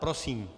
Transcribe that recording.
Prosím.